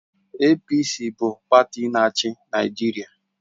APC bụ pati na-achị Naịjirịa